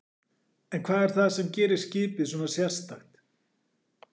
En hvað er það sem gerir skipið svona sérstakt?